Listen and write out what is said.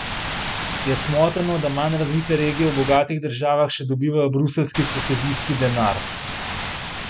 Je smotrno, da manj razvite regije v bogatih državah, še dobivajo bruseljski kohezijski denar?